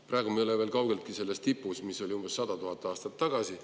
Praegu me ei ole veel kaugeltki selles tipus, mis oli umbes 100 000 aastat tagasi.